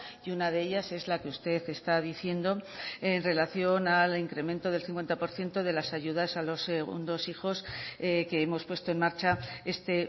y una de ellas es la que usted está diciendo en relación al incremento del cincuenta por ciento de las ayudas a los segundos hijos que hemos puesto en marcha este